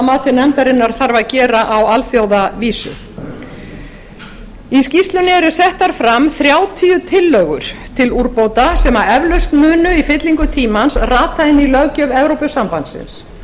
mati nefndarinnar þarf að gera á alþjóðavísu í skýrslunni eru settar fram þrjátíu tillögur til úrbóta sem eflaust munu í fyllingu tímans rata inn í löggjöf evrópusambandsins